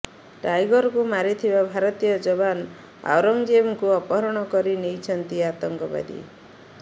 ଟାଇଗରକୁ ମାରିଥିବା ଭାରତୀୟ ଯବାନ ଔରଙ୍ଗଜେବଙ୍କୁ ଅପହରଣ କରି ନେଇଛନ୍ତି ଆତଙ୍କବାଦୀ